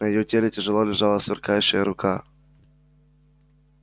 на её теле тяжело лежала сверкающая рука